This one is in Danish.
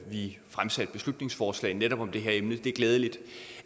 vi fremsatte beslutningsforslag om netop det her emne det er glædeligt